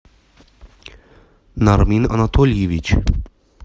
нармин анатольевич